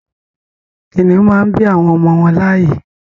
Kìnnìún màá n bí àwọn ọmọ wọn láàyè